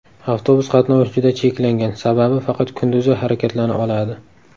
Avtobus qatnovi juda cheklangan, sababi faqat kunduzi harakatlana oladi.